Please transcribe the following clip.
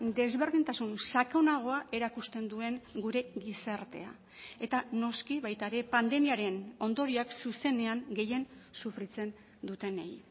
desberdintasun sakonagoa erakusten duen gure gizartea eta noski baita ere pandemiaren ondorioak zuzenean gehien sufritzen dutenei